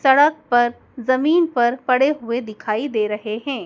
सड़क पर ज़मीन पर पड़े हुए दिखाई दे रहे हैं।